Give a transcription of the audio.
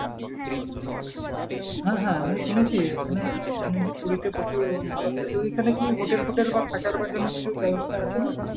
হ্যাঁ হ্যাঁ আমিও শুনেছি এখানে শুনেছি পুরিতে প্রচুর ভালো একটা, ওইখানে কি hotel ফোটেল বা থাকার জন্য কিছু বেবস্থা আছে নাকি?